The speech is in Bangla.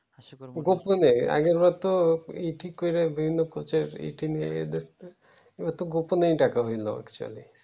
গোপালনে আগের বার তো ই ঠিক করে বিভিন্ন পোচের এ থিম নিয়ে এদের গোপনে ডাকা হলো actually